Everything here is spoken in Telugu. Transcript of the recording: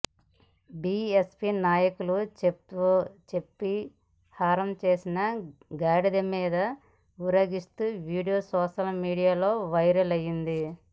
బీఎస్పీ నాయకులకు చెప్పుల హారం వేసి గాడిద మీద ఊరేగిస్తున్న వీడియో సోషల్ మీడియాలో వైరల్ అయ్యింది